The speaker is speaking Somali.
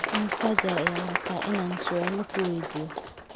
Imisa jeer ayaad rabtaa in aan su'aal ku weydiiyo?